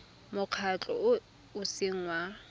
mokgatlho o o seng wa